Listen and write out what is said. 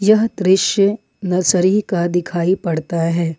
यह दृश्य नर्सरी का दिखाई पड़ता है।